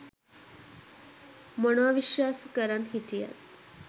මොනව විශ්වාස කරන් හිටියත්